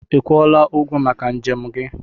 Ị kwụọla ụgwọ maka njem gị?